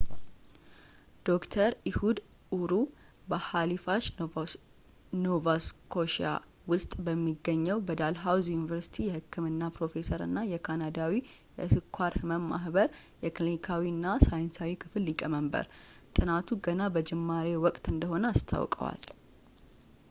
ዶክተር ኢሁድ ኡር በሃሊፉሽ ኖቫስኮሽያ ውስጥ በሚገኘው በዳልሃውዚ ዩኒቨርሲቲ የህክምና ፕሮፌሰር እና የካናዳዊ የስኳር ህመ ማህበር የክሊኒካዊ እና ሳይንሳዊ ክፍል ሊቀመንበር ጥናቱ ገና በጅማሬ ወቅቱ እንደሆነ አስታውቋል